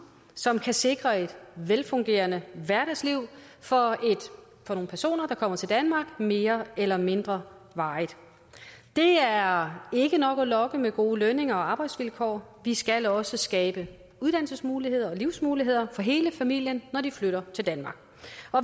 som faktisk kan sikre et velfungerende hverdagsliv for nogle personer der kommer til danmark mere eller mindre varigt det er ikke nok at lokke med gode lønninger og arbejdsvilkår vi skal også skabe uddannelsesmuligheder og livsmuligheder for hele familien når de flytter til danmark